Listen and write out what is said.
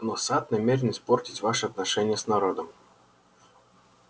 но сатт намерен испортить ваши отношения с народом